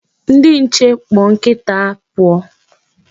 Ndi nche kpọ nkita ha pụọ.